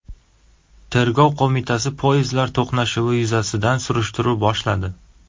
Tergov qo‘mitasi poyezdlar to‘qnashuvi yuzasidan surishtiruv boshladi.